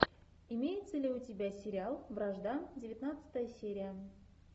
имеется ли у тебя сериал вражда девятнадцатая серия